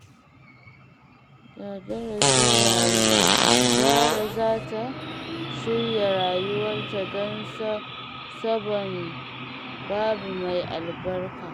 Da darasin rayuwa, Zahra za ta shirya rayuwarta don sabon babi mai albarka.